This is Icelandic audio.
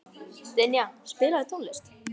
Dynja, spilaðu tónlist.